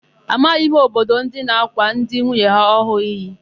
Amaghị m obodo na-ákwà ndị nwunye ọhụụ ha iyi.